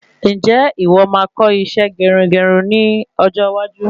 Ǹjẹ́ ìwọ máa kọ́ isẹ́ gerugeru ní ọjọ́ iwájú?